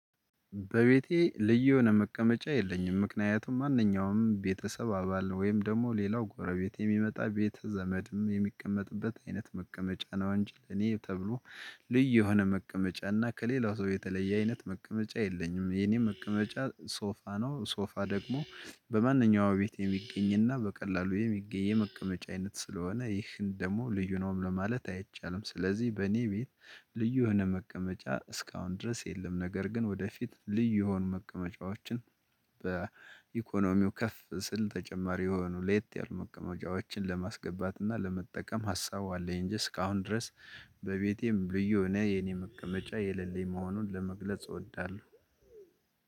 በቤቴ ልዩ የሆነ መቀመጫ የለኝም ምክንያቱም ማንኛውም ቤተሰብ አባል ወይም ደግሞ ሌላው ጎረቤት የሚመጣ ቤተ ዘመድም የሚቀመጥበት አይነት መቀመጫ ነው። አንቺ ለኔ ተብሎ ልዩ የሆነ መቀመጫ እና ከሌላው ሰው የተለየ አይነት መቀመጫ የለኝም። የኔም መቀመጫ ሶፋ ነው ሶፋ ደግሞ በማንኛውም ቤት የሚገኝና በቀላሉ የሚገ የመቀመጫ አይነት ስለሆነ ይህን ደግሞ ልዩ ነውም ለማለት አይቻልም። ስለዚህ በእኔ ቤት ልዩ የሆነ መቀመጫ እስካሁን ድረስ የለም። ነገር ግን ወደፊት ልዩ የሆኑ መቀመጫዎችን በኢኮኖሚው ከፍ ስል ተጨማሪ የሆኑ ሌየት ያሉ መቀመጫዎችን ለማስገባት እና ለመጠቀም ሀሳቡ አለኝ። እንጂ እስካሁን ድረስ በቤቴም ልዩ እኔ የኔ መቀመጫ የሌለኝ መሆኑን ለመግለጽ እወዳለሁ።